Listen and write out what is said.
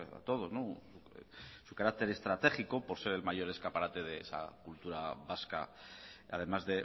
a todos su carácter estratégico por ser el mayor escaparate de esa cultura vasca además